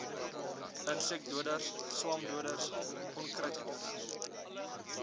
insekdoders swamdoders onkruiddoders